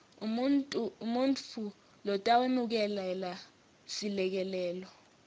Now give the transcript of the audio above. umuntfu lotawemukela selekelelo